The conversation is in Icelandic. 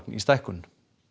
í stækkun